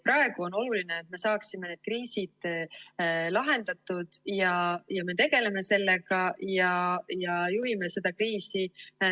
Praegu on oluline, et me saaksime need kriisid lahendatud, ja me tegeleme sellega ja juhime seda kriisi.